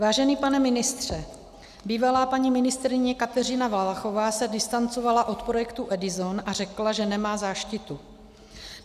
Vážený pane ministře, bývalá paní ministryně Kateřina Valachová se distancovala od projektu EDISON a řekla, že nemá záštitu.